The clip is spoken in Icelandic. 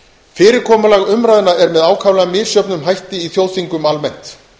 fyrirkomulag umræðna er með ákaflega misjöfnum hætti í þjóðþingum almennt